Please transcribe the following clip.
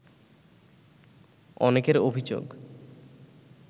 অনেকের অভিযোগ